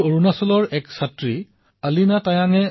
মই অৰুণাচল প্ৰদেশৰ ৰয়িঙত বাস কৰো